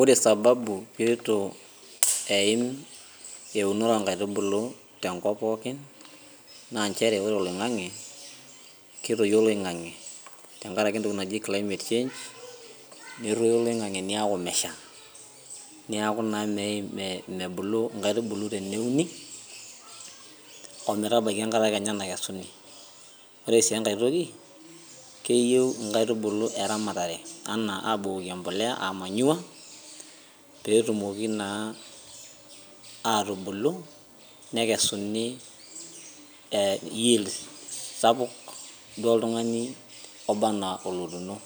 Ore sababu peitu aaim auno inkaitubulu tenkop pookin naa nchere ore oling'ang'e ketoyuo oloing'ang'e tenkaraki entoki naji climate change netoyu oloin'ang'e neeku mesha neeku naa mebulu inkaitubulu teneuni oo metabaiki enkata kenya nakesuni, ore sii enkae toki keyieu inkaitubulu eramatare enaa abukoki enmpolea ee manure pee etumoki naa atubulu nekesuni yields sapuk duoo oltung'ani obaa anaa olotunoo